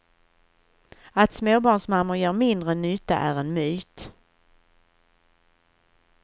Att småbarnsmammor gör mindre nytta är en myt.